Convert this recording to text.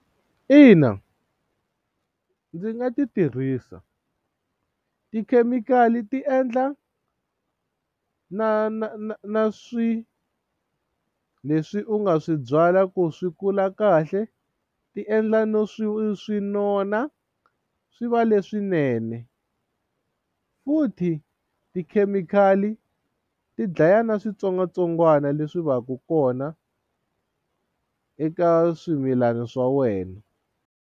Ina ndzi nga ti tirhisa tikhemikhali ti endla na na na na swilo leswi u nga swi byala ku swi kula kahle ti endla no swi swi nona swi va leswinene futhi tikhemikhali ti dlaya na switsongwatsongwana leswi va ku kona eka swimilana swa wena.